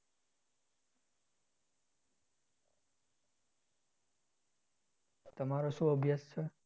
તમારો શું અભ્યાસ છે?